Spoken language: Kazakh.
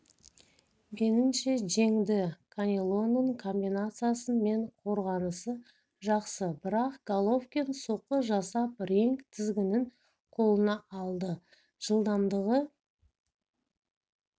меніңше жеңді канелоның комбинациясы мен қорғанысы жақсы бірақ головкин соққы жасап ринг тізгінін қолына алды жылдамдығы